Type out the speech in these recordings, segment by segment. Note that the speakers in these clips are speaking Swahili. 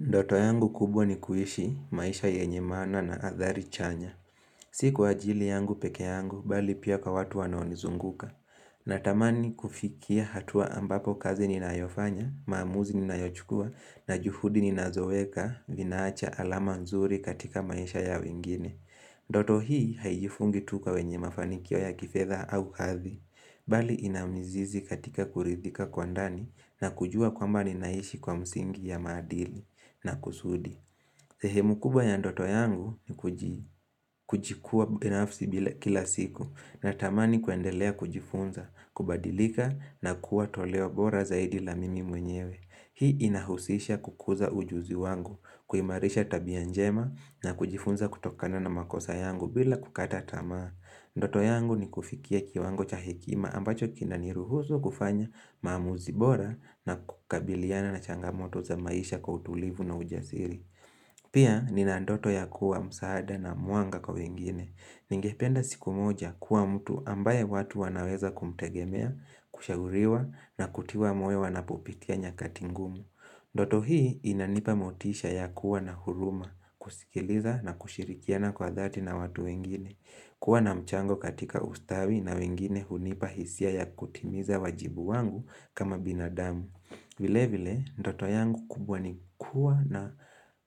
Ndoto yangu kubwa ni kuishi maisha yenye maana na athari chanya. Si kwa ajili yangu pekee yangu, bali pia kwa watu wanaonizunguka. Natamani kufikia hatua ambapo kazi ninayofanya, maamuzi ninayochukua, na juhudi ninazoweka, vinaacha alama nzuri katika maisha ya wengine. Ndoto hii haijifungi tu kwa wenye mafanikio ya kifedha au hathi. Bali inamizizi katika kuridhika kwa ndani na kujua kwamba ninaishi kwa msingi ya maadili. Na kusudi. Sehemu kubwa ya ndoto yangu ni kujikua binafsi kila siku na tamani kuendelea kujifunza, kubadilika na kuwa toleo bora zaidi la mimi mwenyewe. Hii inahusisha kukuza ujuzi wangu, kuimarisha tabia njema na kujifunza kutokana na makosa yangu bila kukata tamaa. Ndoto yangu ni kufikia kiwango cha hekima ambacho kinaniruhusu kufanya maamuzi bora na kukabiliana na changamoto za maisha kwa utulivu na ujasiri. Pia ninandoto ya kuwa msaada na mwanga kwa wengine. Ningependa siku moja kuwa mtu ambaye watu wanaweza kumtegemea, kushauriwa na kutiwa moyo wanapopitia nyakatingumu. Ndoto hii inanipa motisha ya kuwa na huruma, kusikiliza na kushirikiana kwa dhati na watu wengine. Kuwa na mchango katika ustawi na wengine hunipa hisia ya kutimiza wajibu wangu kama binadamu. Vile vile, ndoto yangu kubwa ni kuwa na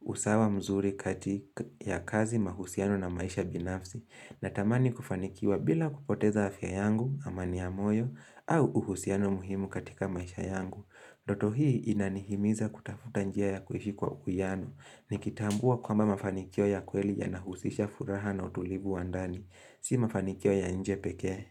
usawa mzuri katika ya kazi mahusiano na maisha binafsi. Natamani kufanikiwa bila kupoteza afya yangu, amani ya moyo, au uhusiano muhimu katika maisha yangu. Ndoto hii inanihimiza kutafuta njia ya kuhishi kwa uwiano. Nikitambua kwamba ma fanikio ya kweli ya nahusisha furaha na utulivu wandani. Si mafanikio ya nje pekee.